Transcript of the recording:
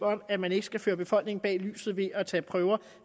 at man ikke skal føre befolkningen bag lyset ved at tage prøver